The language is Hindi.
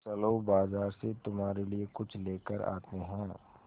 चलो बाज़ार से तुम्हारे लिए कुछ लेकर आते हैं